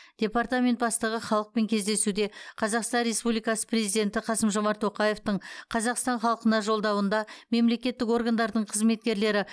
департамент бастығы халықпен кездесуде қазақстан республикасы президенті қасым жомарт тоқаевтың қазақстан халқына жолдауында мемлекеттік органдардың қызметкерлері